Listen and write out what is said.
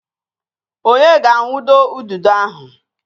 Onye ga-awundo ududo ahụ?